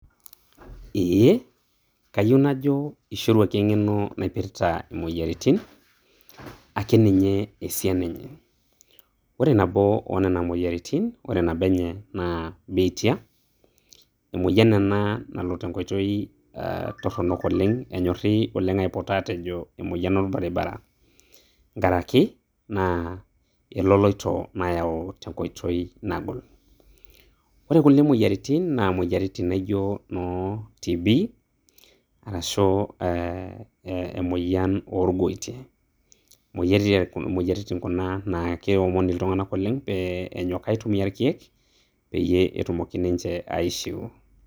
Ee kayieu najo eishoruaki eng'eno naipirta imoyiaritin, akeninye esiana enye. Ore nabo oo nena moyiaritin, ore nabo enye naa biitia, emoyian ena nalo tenkoitoi torronok oleng',enyorri oleng' aipoto atejo "emoyian orbaribara ". Nkaraki, naa eloloito nayau tenkoitoi nagol. Ore nkulie moyiaritin na moyiaritin naijo, no TB,arashu eh emoyian orgoitie. Moyiaritin kuna na keomoni iltung'anak oleng' pe enyok aitumia irkeek, peyie etumoki ninche aishiu.